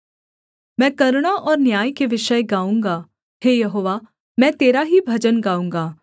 मैं करुणा और न्याय के विषय गाऊँगा हे यहोवा मैं तेरा ही भजन गाऊँगा